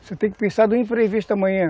Você tem que pensar do imprevisto da manhã.